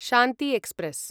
Shanti express